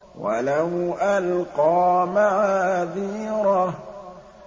وَلَوْ أَلْقَىٰ مَعَاذِيرَهُ